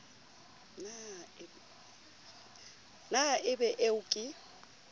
na e be eo ke